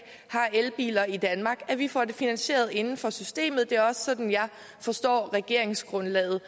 har elbiler i danmark at vi får det finansieret inden for systemet det er også sådan jeg forstår regeringsgrundlaget